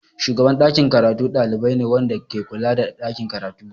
Shugaban ɗakin karatu ɗalibi ne wanda ke kula da ɗakin karatu.